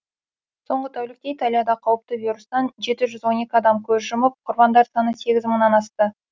соңғы тәулікте италияда қауіпті вирустан жеті жүз он екі адам көз жұмып құрбандар саны сегіз мыңнан асты